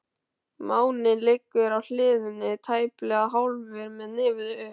Máninn liggur á hliðinni, tæplega hálfur með nefið upp.